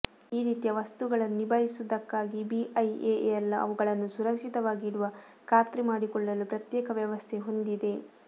ಈ ರೀತಿಯ ವಸ್ತುಗಳನ್ನು ನಿಭಾಯಿಸುವುದಕ್ಕಾಗಿ ಬಿಐಎಎಲ್ ಅವುಗಳನ್ನು ಸುರಕ್ಷಿತವಾಗಿಡುವ ಖಾತ್ರಿ ಮಾಡಿಕೊಳ್ಳಲು ಪ್ರತ್ಯೇಕ ವ್ಯವಸ್ಥೆ ಹೊಂದಿದೆ